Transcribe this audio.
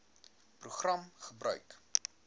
program gebruik